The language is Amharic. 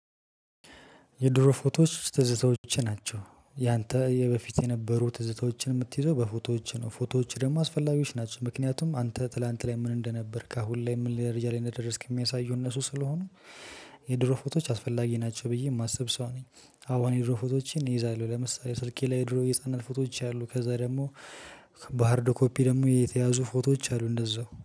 የድሮ ፎቶዎች ትዝታዎች ናቸው ያንተ የበፊት የነበሩ ትዝታዎችን የምትይዘው በፎቶዎች ነው ፎቶዎች ደግሞ አስፈላጊዎች ናቸው ምክንያቱም አንተ ትላንት ላይ ምን እንደነበርክ አሁን ላይ ምን ደረጃ ላይ እንደደረስክ የሚያሳየው እነሱ ስለሆኑ። የድሮ ፎቶዎች አስፈላጊ ናቸው ብዬ የማስብ ሰው ነኝ። አሁን የድሮ ፎቶዎችን እይዛለሁ ለምሳሌ ስልኬ ላይ የድሮ የህፃንነት ፎቶዎች አሉ ከዛ ደግሞ። በሃርድ ኮፒ ደግሞ የተያዙ ፎቶዎች አሉ እንደዛው